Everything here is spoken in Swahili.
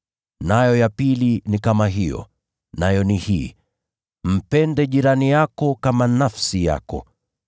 Nayo ya pili ni kama hiyo, nayo ni hii: ‘Mpende jirani yako kama nafsi yako.’